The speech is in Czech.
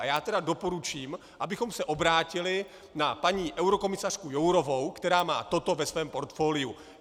A já tedy doporučím, abychom se obrátili na paní eurokomisařku Jourovou, která má toto ve svém portfoliu.